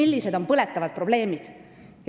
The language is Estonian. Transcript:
Need on põletavad probleemid.